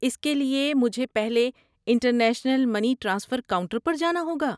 اس کے لیے، مجھے پہلے انٹرنیشنل منی ٹرانسفر کاؤنٹر پر جانا ہوگا؟